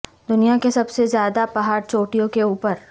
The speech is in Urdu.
دنیا کے سب سے زیادہ پہاڑ چوٹیوں کے اوپر